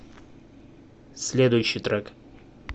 следующий трек